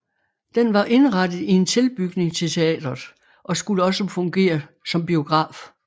Den var indrettet i en tilbygning til teatret og skulle også fungere som biograf